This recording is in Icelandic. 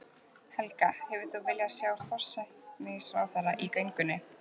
Helga: Hefðir þú viljað sjá forsætisráðherra í göngunni?